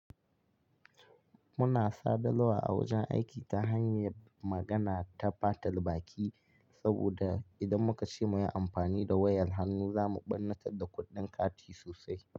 Muna sadarwa a wajen aiki ta hanyar magana ta fatal baki saboda idan muka ce mu yi amfani da wayar hannu, za mu ɓarnatar da kuɗin kati sosai.